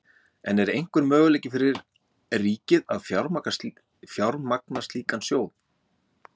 En er einhver möguleiki fyrir ríkið að fjármagna slíkan sjóð?